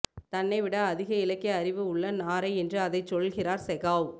தன்னை விட அதிக இலக்கிய அறிவு உள்ள நாரை என்று அதைச் சொல்கிறார் செகாவ்